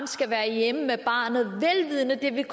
skal være hjemme med barnet vel vidende at det vil